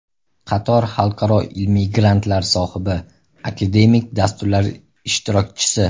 Qator xalqaro ilmiy grantlar sohibi, akademik dasturlar ishtirokchisi.